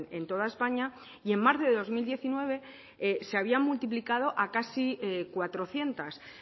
en toda españa y en marzo de dos mil diecinueve se había multiplicado a casi cuatrocientos